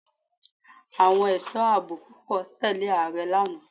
Àwọn ẹ̀sọ́ àbò púpọ̀ tẹ̀lẹ́ Ààrẹ lánàá.